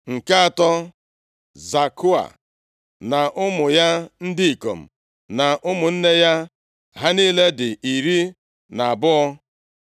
Nke atọ, Zakua na ụmụ ya ndị ikom na ụmụnne ya. Ha niile dị iri na abụọ (12).